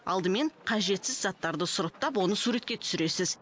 алдымен қажетсіз заттарды сұрыптап оны суретке түсіресіз